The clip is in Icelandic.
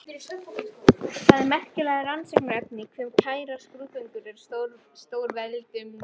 Það er merkilegt rannsóknarefni hve kærar skrúðgöngur eru stórveldum.